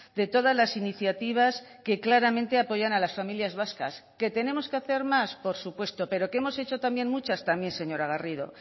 de todas las iniciativas que claramente apoyan a las familias vascas que tenemos que hacer más por supuesto pero que hemos hecho también muchas también señora garrido